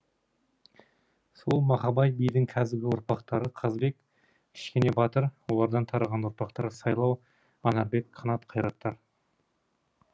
сол махабай бидің қазіргі ұрпақтары қазбек кішкенебатыр олардан тараған ұрпақтар сайлау анарбек қанат қайраттар